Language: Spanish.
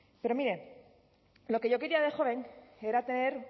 pero mire lo que yo quería de joven era tener